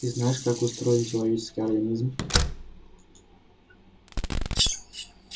ты знаешь как устроен человеческий организм